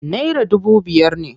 Naira dubu biyar ne.